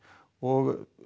og